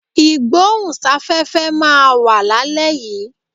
Ìgbóhùn sáfẹ́fẹ́ máa wà lálẹ́ yìí.